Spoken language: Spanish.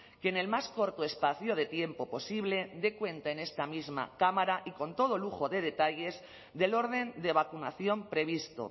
que en el más corto espacio de tiempo posible dé cuenta en esta misma cámara y con todo lujo de detalles del orden de vacunación previsto